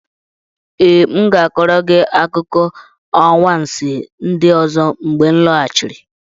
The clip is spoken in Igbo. Ee, m ga-akọrọ gị akụkọ anwansi ndị ọzọ mgbe m lọghachiri.